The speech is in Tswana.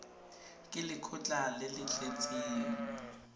ke lekgotlha le le tletseng